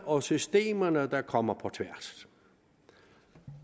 og systemerne der kommer på tværs